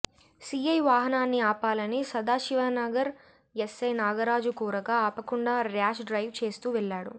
CI వాహనాన్ని ఆపాలని Sadashivnagar SI Nagaraju కోరగా ఆపకుండా ర్యాష్ డ్రైవ్ చేస్తూ వెళ్లాడు